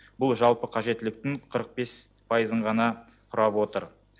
бұл жалпы қажеттіліктің қырық бес пайызын ғана құрап отыр